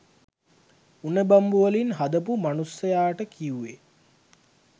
උණ බම්බුවලින් හදපු මනුස්සයාට කිව්වේ